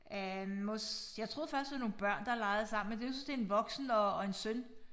Øh mos jeg troede først det var nogle børn der legede sammen men det jeg synes det en voksen og og en søn